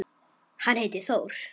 Hann heitir Þór.